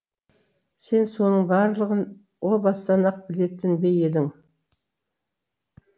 сен соның барлығын о бастан ақ білетін бе едің